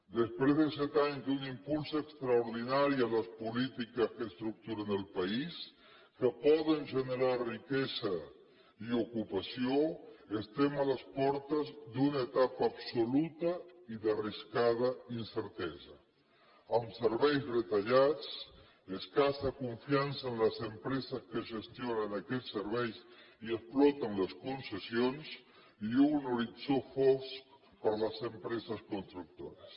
després de set anys d’un impuls extraordinari a les polítiques que estructuren el país que poden generar riquesa i ocupació estem a les portes d’una etapa d’absoluta i d’arriscada incertesa amb serveis retallats escassa confiança en les empreses que gestionen aquests serveis i exploten les concessions i un horitzó fosc per les empreses constructores